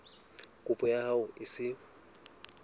kopo ya hao e se